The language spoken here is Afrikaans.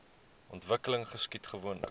ontwikkeling geskied gewoonlik